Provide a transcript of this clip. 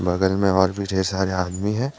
बगल में और भी ढेर सारे आदमी हैं।